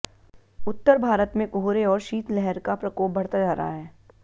उत्तर भारत में कोहरे और शीतलहर का प्रकोप बढ़ता जा रहा है